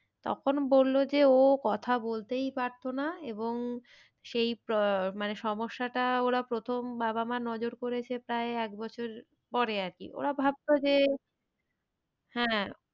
তখন বললো যে ও কথা বলতেই পারতো না এবং সেই আহ মানে সমস্যাটা ওরা প্রথম বাবা মা নজর করেছে প্রায় এক বছর পরে আরকি। ওরা ভাবতো যে হ্যাঁ,